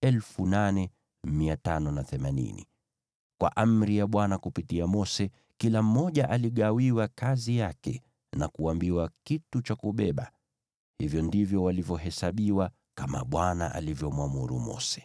Kwa amri ya Bwana kupitia Mose, kila mmoja aligawiwa kazi yake na kuambiwa kitu cha kubeba. Hivyo ndivyo walivyohesabiwa kama Bwana alivyomwamuru Mose.